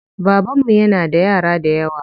Babanmu yana da yara dayawa.